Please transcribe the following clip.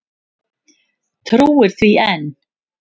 Trúir því enn.